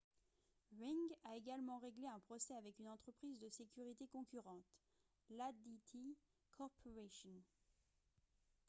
ring a également réglé un procès avec une entreprise de sécurité concurrente l'adt corporation